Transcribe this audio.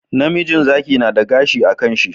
Namijin Zaki nada gashi a kan shi